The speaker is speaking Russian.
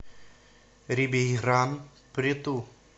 рибейран прету